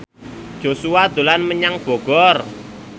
Joshua dolan menyang Bogor